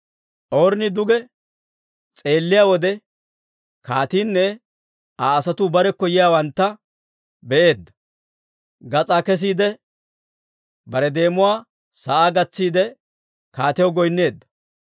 Ornni duge s'eelliyaa wode, kaatiinne Aa asatuu barekko yiyaawantta be'eedda; gas'aa kesiide, bare deemuwaa sa'aa gatsiide, kaatiyaw goynneedda.